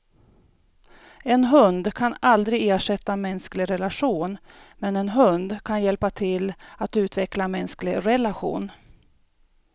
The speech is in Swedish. En hund kan aldrig ersätta en mänsklig relation, men en hund kan hjälpa till att utveckla en mänsklig relation.